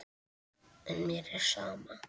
En mér er sama.